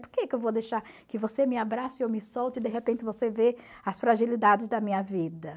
Por que que eu vou deixar que você me abraçe e eu me solte e de repente você vê as fragilidades da minha vida?